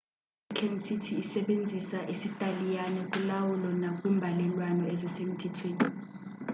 i-vatican city isebenzisa isitaliyane kulawulo nakwimbalelwano ezisemthethweni